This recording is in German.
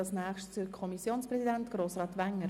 Das Wort hat der Kommissionspräsident, Grossrat Wenger.